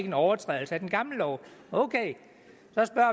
en overtrædelse af den gamle lov